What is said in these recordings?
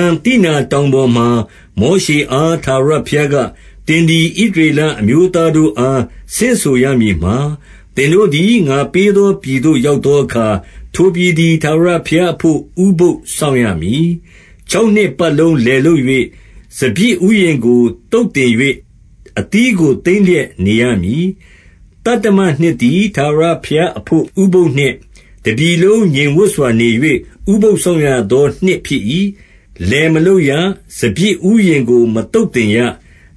န် သိနာတောင်ပေါ်မှာ၊ မောရှေအား ထာဝရဘုရားက၊ သင်သည် ဣသရေလအမျိုးသားတို့ အား ဆင့်ဆိုရမည်မှာ၊- 2 သင်တို့သည် ငါပေးသော ပြည်သို့ ရောက်သောအခါ၊ ထိုပြည်သည် ထာဝရဘုရားအဘို့ ဥပုသ်စောင့်ရမည်။ 3 ခြောက်နှစ်ပတ်လုံး လယ်လုပ်လျက် စပျစ်ဥယျာဉ်ကို သုတ်သင်၍ အသီးကို သိမ်းလျက် နေရမည်။ 4 သတ္တမနှစ်သည်၊ ထာဝရဘုရားအဘို့ ဥပုသ်နှစ်၊ တပြည်လုံး ငြိမ်ဝပ်စွာနေ၍ ဥပုသ်စောင့်ရသော နှစ်ဖြစ်၏။ လယ်မလုပ်ရ၊ စပျစ်ဥယျာဉ်ကို မသုတ်သင်ရ၊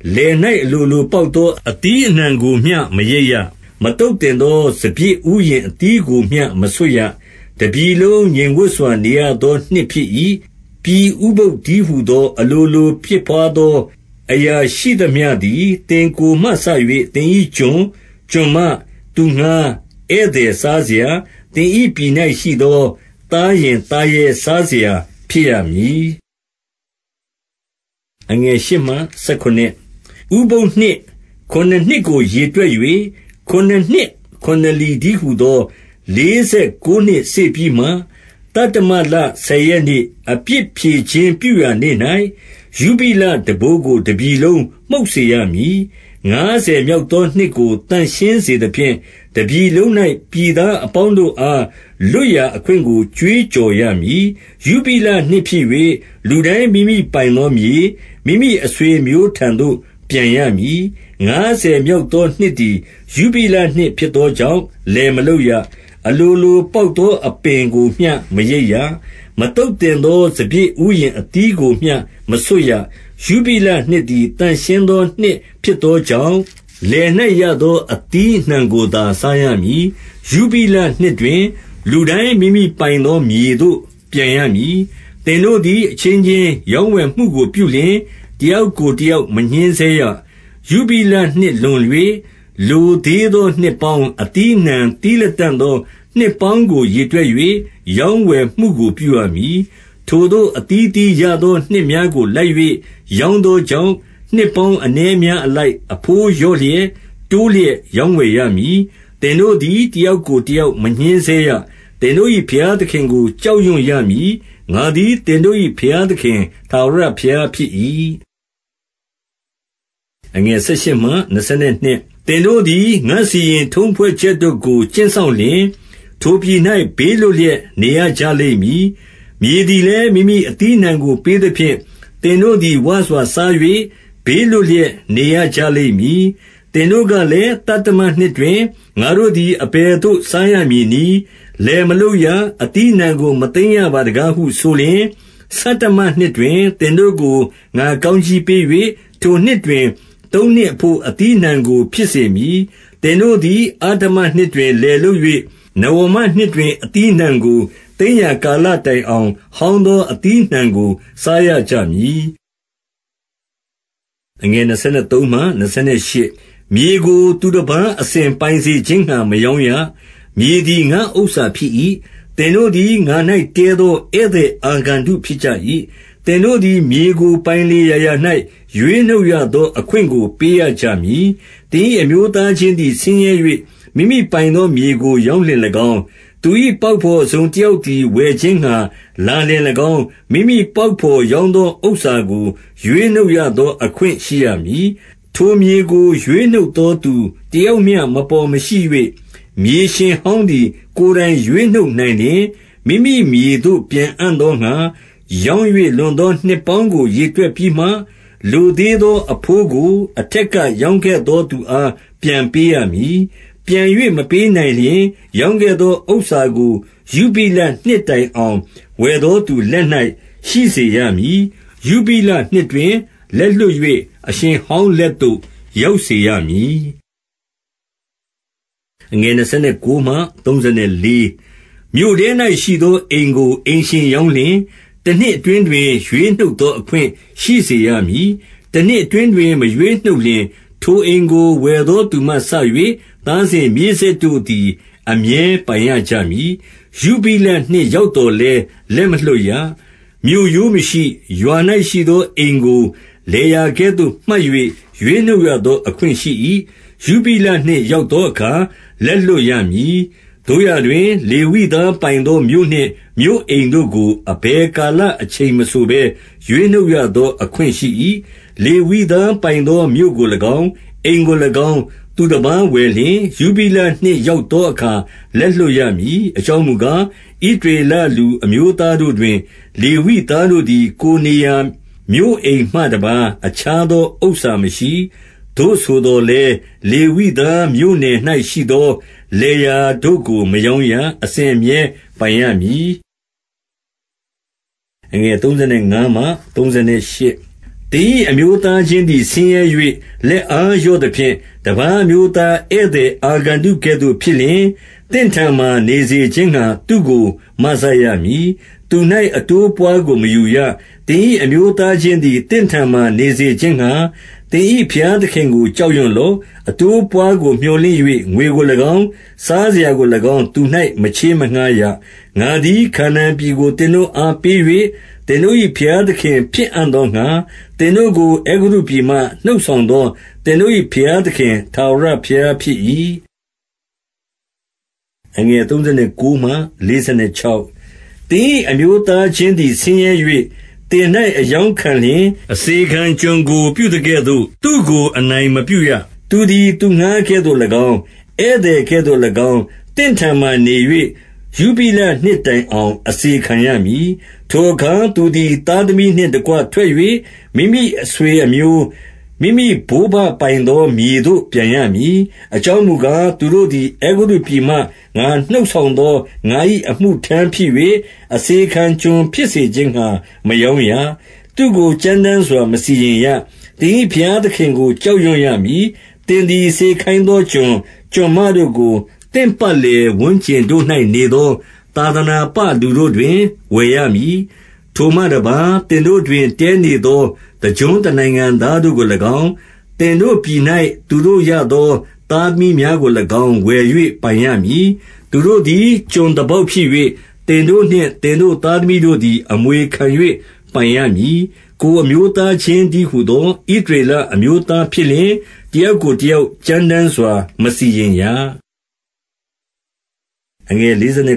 5 လယ်၌ အလိုလိုပေါက်သော အသီးအနှံကိုမျှ မရိတ်ရ။ မသုတ်သင်သော စပျစ်ဥယျာဉ် အသီးကိုမျှ မဆွတ်ရ။ တပြည်လုံး ငြိမ်ဝပ်စွာ နေရသော နှစ်ဖြစ်၏။ 6 ပြည်ဥပုသ်တည်းဟူသော အလိုလို ဖြစ်ပွားသော အရာရှိသမျှသည်၊ သင်ကိုယ်မှစ၍ သင်၏ ကျွန်၊ ကျွန်မ၊ သူငှါး၊ ဧည့်သည်စားစရာ၊- 7 သင်၏ ပြည်၌ရှိသော သားယဉ် သားရဲစားစရာဖြစ်ရသည်။ 8 ဥပုသ်နှစ် ခုနစ်နှစ်ကို ရေတွက်၍၊ ခုနှစ်နှစ်ခု နှစ်လီတည်းဟူသော လေးဆယ်ကိုးနှစ်စေ့ပြီးမှ၊- 9 သတ္တမလ ဆယ်ရက်နေ့၊ အပြစ်ဖြေခြင်းပြုရာနေ့၌၊ ယုဘိလတံပိုးကို တပြည်လုံး မှုတ်စေရမည်။ 10 ငါးဆယ်မြောက်သောနှစ်ကို သန့်ရှင်းစေသဖြင့်၊ တပြည်လုံး၌ ပြည်သားအပေါင်းတို့အား၊ လွတ်ရာ အခွင့်ကို ကြွေးကြော်ရမည်။ ယုဘိလနှစ်ဖြစ်၍၊ လူတိုင်း မိမိပိုင်သောမြေ၊ မိမိအဆွေအမျိုးထံသို့ ပြန်ရမည်။ 11 ငါးဆယ်မြောက်သောနှစ်သည် ယုဘိလနှစ်ဖြစ်သောကြောင့် လယ်မလုပ်ရ။ အလိုလိုပေါက်သော အပင်ကိုမျှ မရိတ်ရ။ မသုတ်သင်သော စပျစ်ဥယျာဉ်အသီးကိုမျှ မဆွတ်ရ။ 12 ယုဘိလနှစ်သည် သန့်ရှင်းသော နှစ်ဖြစ်သောကြောင့်၊ လယ်၌ရသော အသီးအနှံကိုသာ စားရမည်။ 13 ယုဘိလနှစ်တွင် လူတိုင်း မိမိပိုင်သော မြေသို့ ပြန်ရမည်။ 14 သင်တို့သည် အချင်းချင်းရောင်းဝယ်မှုကို ပြုလျှင်၊ တယောက်ကို တယောက် မညှဉ်းဆဲရ။ 15 ယုဘိလနှစ်လွန်၍ လိုသေးသော နှစ်ပေါင်း၊ အသီးအနှံ သီးလတံ့သော နှစ်ပေါင်းကို ရေတွက်၍ ရောင်းဝယ်မှုကို ပြုရမည်။ 16 ထိုသို့ အသီးသီးရသော နှစ်များကို လိုက်၍ ရောင်းသောကြောင့်၊ နှစ်ပေါင်း အနည်းအများအလိုက် အဘိုးလျော့လျက်၊ တိုးလျက် ရောင်းဝယ်ရမည်။ 17 သင်တို့သည် တယောက်ကိုတယောက် မညှဉ်းဆဲရ။ သင်တို့၏ ဘုရားသခင်ကို ကြောက်ရွံ့ရမည်။ ငါသည် သင်တို့၏ ဘုရားသခင်ထာဝရဘုရား ဖြစ်၏။ 18 သင်တို့သည် ငါ့စီရင်ထုံးဖွဲ့ချက်တို့ကို ကျင့်စောင့်လျှင်၊ ထိုပြည်၌ ဘေးလွတ်လျက်နေရကြလိမ့်မည်။ 19 မြေသည်လည်း မိမိ အသီးအနှံကို ပေးသဖြင့်၊ သင်တို့သည် ဝစွာစား၍ ဘေးလွတ်လျက် နေရကြ လိမ့်မည်။ 20 သင်တို့ကလည်း၊ သတ္တမနှစ်တွင် ငါတို့သည် အဘယ်သို့ စားရမည်နည်း။ လယ်မလုပ်ရ။ အသီးအနှံကို မသိမ်းရပါတကားဟု ဆိုလျှင်၊- 21 ဆဌမနှစ်တွင် သင်တို့ကို ငါကောင်းကြီးပေး၍၊ ထိုနှစ်တွင် သုံးနှစ်အဘို့ အသီးအနှံကို ဖြစ်စေမည်။ 22 သင်တို့သည် အဋ္ဌမနှစ်တွင် လယ်လုပ်၍ နဝမနှစ်တွင် အသီးအနှံကို သိမ်းရာ ကာလတိုင်အောင် ဟောင်းသော အသီးအနှံကို စားရကြမည်။ 23 မြေကို သူတပါး အစဉ်ပိုင်စေခြင်းငှါ မရောင်းရ။ မြေသည် ငါ့ဥစ္စာဖြစ်၏။ သင်တို့သည် ငါ၌ တည်းသော ဧည့်သည် အာဂန္တုဖြစ်ကြ၏။ 24 သင်တို့သည် မြေကို ပိုင်လေရာရာ၌ ရွေးနှုတ်ရသော အခွင့်ကို ပေးရကြမည်။ 25 သင်၏ အမျိုးသားချင်းသည် ဆင်းရဲ၍၊ မိမိပိုင်သောမြေကို ရောင်းလျှင်၎င်း၊ သူ၏ပေါက်ဘော် တစုံတယောက်သည် ဝယ်ခြင်းငှါလာလျှင်၎င်း၊ မိမိပေါက်ဘော် ရောင်းသောဥစ္စာကို ရွေးနှုတ်ရသော အခွင့်ရှိရမည်။ 26 ထိုမြေကို ရွေးနှုတ်သောသူတယောက်မျှ မပေါ်မရှိ၍၊ မြေရှင်ဟောင်းသည် ကိုယ်တိုင်ရွေးနှုတ်နိုင်လျှင်၊- 27 မိမိမြေသို့ ပြန်အံ့သောငှါ၊ ရောင်း၍လွန်သော နှစ်ပေါင်းကို ရေတွက်ပြီးမှ၊ လိုသေးသော အဘိုးကို အထက်က ရောင်းခဲ့သောသူအား ပြန်ပေးရမည်။ 28 ပြန်၍မပေးနိုင်လျှင် ရောင်းခဲ့သောဥစ္စာကို ယုဘိလနှစ်တိုင်အောင် ဝယ်သောသူလက်၌ ရှိစေရမည်။ ယုဘိလနှစ်တွင် လက်လွှတ်၍ အရှင်ဟောင်းလက်သို့ ရောက်စေရမည်။ 29 မြို့ထဲ၌ရှိသော အိမ်ကို အိမ်ရှင်ရောင်းလျှင်၊ တနှစ်အတွင်းတွင် ရွေးနှုတ်သော အခွင့်ရှိစေရမည်။ 30 တနှစ်အတွင်းတွင် မရွေးနှုတ်လျှင်၊ ထိုအိမ်ကို ဝယ်သောသူမှစ၍ သားစဉ်မြေးဆက်တို့သည် အမြဲပိုင်ရ ကြမည်။ ယုဘိလနှစ်ရောက်သော်လည်း လက်မလွှတ်ရ။ 31 မြို့ရိုးမရှိ၊ ရွာ၌ရှိသောအိမ်ကို လယ်ယာကဲ့သို့ မှတ်၍ ရွေးနှုတ်ရသော အခွင့်ရှိ၏။ ယုဘိလနှစ် ရောက်သောအခါ လက်လွှတ်ရမည်။ 32 သို့ရာတွင် လေဝိသားပိုင်သော မြို့နှင့်မြို့အိမ်တို့ကို၊ အဘယ်ကာလအချိန်မဆိုဘဲ ရွေးနှုတ်ရသော အခွင့်ရှိ၏။ 33 လေဝိသားပိုင်သော မြို့ကို၎င်း၊ အိမ်ကို၎င်း၊ သူတပါးဝယ်လျှင်၊ ယုဘိလနှစ်ရောက်သောအခါ လက်လွှတ်ရမည်။ အကြောင်းမူကား၊ ဣသရေလ လူအမျိုးသားတို့တွင် လေဝိသားတို့သည်၊ ကိုယ် နေရာ မြို့အိမ်မှတပါး အခြားသော ဥစ္စာမရှိ။ 34 သို့ဆိုသော်လည်း၊ လေဝိသားမြို့နယ်၌ရှိသော လယ်ယာတို့ကို မရောင်းရ။ အစဉ်အမြဲပိုင်ရမည်။ 35 သင်၏ အမျိုးသားချင်းသည် ဆင်းရဲ၍ လက်အားလျော့သဖြင့် တပါးအမျိုးသား ဧည့်သည်အာဂန္တု ကဲ့သို့ဖြစ်လျှင်၊ သင့်ထံမှာ နေစေခြင်းငှါ သူ့ကို မစရမည်။ 36 သူ၌ အတိုးအပွားကို မယူရ။ သင်၏ အမျိုးသားချင်းသည် သင့်ထံမှာ နေစေခြင်းငှါ၊ သင်၏ ဘုရားသခင်ကို ကြောက်ရွံ့လော့။ 37 အတိုးအပွါးကို မြော်လင့်၍ ငွေကို၎င်း၊ စားစရာကို၎င်း၊ သူ၌ မချေးမငှါးရ။ 38 ငါသည် ခါနာန်ပြည်ကို သင်တို့အားပေး၍၊ သင်တို့၏ ဘုရားသခင်ဖြစ်အံ့သောငှါ၊ သင်တို့ကို အဲဂုတ္တု ပြည်မှ နှုတ်ဆောင်သော သင်တို့၏ ဘုရားသခင်၏ ထာဝရဘုရားဖြစ်၏။ 39 သင်၏ အမျိုးသားချင်းသည် ဆင်းရဲ၍ သင်၌ အရောင်းခံလျှင်၊ အစေခံကျွန်ကိုပြုသကဲ့သို့ သူ့ကို အနိုင်မပြုရ။ 40 သူသည် သူငှါးကဲ့သို့၎င်း၊ ဧည့်သည်ကဲ့သို့၎င်း၊ သင့်ထံမှာနေ၍ ယုဘိလနှစ်တိုင်အောင် အစေခံရမည်။ 41 ထိုအခါ သူသည် သားသမီးနှင့်တကွ ထွက်၍၊ မိမိအဆွေအမျိုး၊ မိမိ ဘိုးဘပိုင်သောမြေသို့ ပြန်ရမည်။ 42 အကြောင်းမူကား၊ သူတို့သည် အဲဂုတ္တုပြည်မှ ငါနှုတ်ဆောင်သော ငါ၏ အမှုထမ်းဖြစ်၍၊ အစေခံ ကျွန်ဖြစ်စေခြင်းငှါ၊ မရောင်းရ။ 43 သူ့ကို ကြမ်းတမ်းစွာ မစီရင်ရ။ သင်၏ ဘုရားသခင်ကို ကြောက်ရွံ့ရမည်။ 44 သင်သည် စေခိုင်းသောကျွန်၊ ကျွန်မတို့ကို၊ သင့် ပတ်လည်ဝန်းကျင်တို့၌ နေသော သာသနာပလူတို့ တွင် ဝယ်ရမည်။ 45 ထိုမှတပါး၊ သင်တို့တွင် တည်းနေသော တကျွန်းတနိုင်ငံသားတို့ကို၎င်း၊ သင်တို့ပြည်၌ သူတို့ရသော သားသမီးများကို၎င်း ဝယ်၍ ပိုင်ရမည်။ 46 သူတို့သည် ကျွန်သားပေါက်ဖြစ်၍၊ သင်တို့နှင့် သင်တို့သားသမီးတို့သည် အမွေခံ၍ ပိုင်ရမည်။ ကိုယ်အမျိုးသားချင်းတည်းဟူသော ဣသရေလအမျိုးသားဖြစ်လျှင်၊ တယောက်ကိုတယောက် ကြမ်း တမ်းစွာ မစီရင်ရ။ 47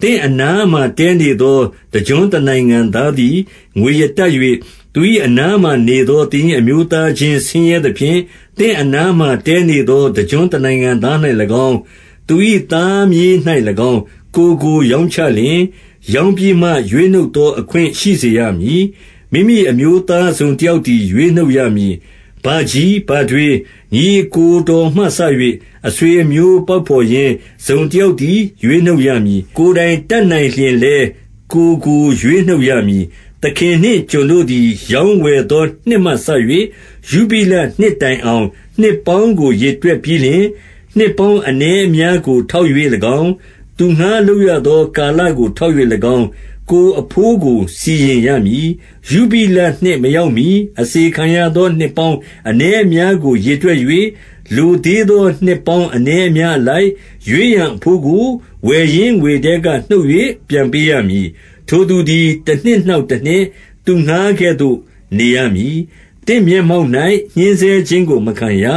သင့်အနားမှာတည်းနေသော တကျွန်းတနိုင်ငံသားသည် ငွေရတတ်၍ သူ၏အနားမှာနေသော သင်၏ အမျိုးသားချင်း ဆင်းရဲသဖြင့်၊ သင့်အနားမှာ တည်းနေသော တကျွန်းတနိုင်ငံသား၌၎င်း၊ သူ၏ သားမြေး၌၎င်း၊ ကိုယ်ကိုရောင်းချလျှင်၊- 48 ရောင်းပြီးမှ ရွေးနှုတ်သော အခွင့်ရှိစေရမည်။ မိမိအမျိုးသား တစုံတယောက်သည် ရွေးနှုတ်ရမည်။ 49 ဘကြီး၊ ဘထွေး၊ ညီအစ်ကိုတော်မှစ၍ အဆွေအမျိုးပေါက်ဘော်ရင်း တစုံတယောက်သည် ရွေးနှုတ် ရမည်။ ကိုယ်တိုင်တတ်နိုင်လျှင်လည်း ကိုယ်ကိုရွေးနှုတ်ရမည်။ 50 သခင်နှင့် ကျွန်တို့သည်၊ ရောင်းဝယ်သော နှစ်မှစ၍ ယုဘိလနှစ်တိုင်အောင် နှစ်ပေါင်းကို ရေတွက် ပြီးလျှင်၊ နှစ်ပေါင်းအနည်းအများကို ထောက်၍၎င်း၊ သူငှါးလုပ်ရသည် ကာလကို ထောက်၍၎င်း၊ ကိုယ်အဘိုးကို စီရင်ရမည်။ 51 ယုဘိလနှစ်မရောက်မှီ၊ အစေခံရသော နှစ်ပေါင်း အနည်းအများကို ရေတွက်၍၊- 52 လိုသေးသော နှစ်ပေါင်း အနည်းအများအလိုက် ရွေးရန်အဘိုးကို၊ ဝယ်ရင်းငွေထဲက နှုတ်၍ ပြန်ပေး ရမည်။ 53 ထိုသူသည် တနှစ် နောက်တနှစ်၊ သူငှါးကဲ့သို့ နေရမည်။ သင့်မျက်မှောက်၌ ညှဉ်းဆဲခြင်းကို မခံရ။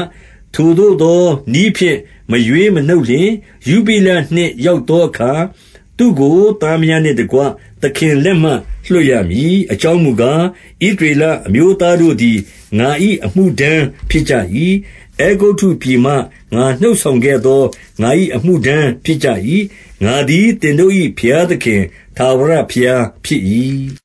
54 ထိုသို့သောနည်းဖြင့် မရွေးမနှုတ်လျှင်၊ ယုဘိလနှစ်ရောက်သောအခါ၊ သူ့ကိုသားမယားနှင့်တကွ သခင်လက်မှ လွှတ်ရမည်။ 55 အကြောင်းမူကား ဣသရေလအမျိုးသားတို့သည်၊ ငါ၏ အမှုထမ်းဖြစ်ကြ၏။ အဲဂုတ္တုပြည်မှ ငါနှုတ် ဆောင်ခဲ့သော ငါ၏ အမှုထမ်းဖြစ်ကြ၏။ ငါသည် သင်တို့၏ ဘုရားသခင် ထာဝရဘုရားဖြစ်၏။